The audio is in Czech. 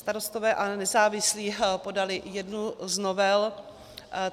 Starostové a nezávislí podali jednu z novel.